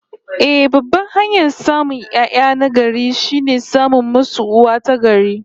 Eh, babban hanyar samun 'ya'ya na gari, shine samun musu uwa ta gari